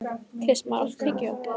Kristmar, áttu tyggjó?